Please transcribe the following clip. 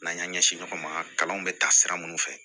N'an y'an ɲɛsin ɲɔgɔn ma kalanw bɛ ta sira minnu fɛ